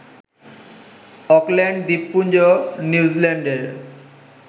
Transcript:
Auckland দ্বীপপুঞ্জ নিউজিল্যান্ডের